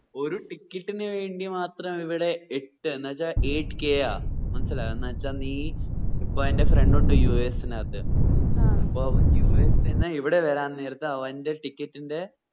ഒരു ticket ന് വേണ്ടി മാത്രാ ഇവിടെ എട്ട് എന്ന് വെച്ച eightk ആ എന്ന് വെച്ചാ നീ എന്റെ friend ഉണ്ട് യൂ എസിന്നാത് ആ അപ്പോ അവൻ യു എസിന്ന് ഇവിടെ വരാൻ നേരത്തു അവന്റെ ticket ന്റെ